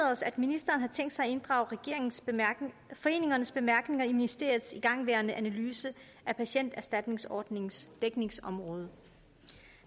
os at ministeren har tænkt sig at inddrage foreningernes bemærkninger i ministeriets igangværende analyse af patienterstatningsordningens dækningsområde